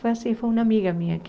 Foi assim, com uma amiga minha aqui.